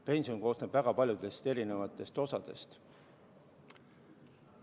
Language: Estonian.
Pension koosneb väga paljudest erinevatest osadest.